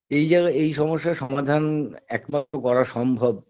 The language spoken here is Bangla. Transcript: এই জায়গায় এই সমস্যার সমাধান একমাত্র করা সম্ভব